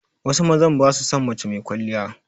Wasu mazan ba su son mace mai kwaliya.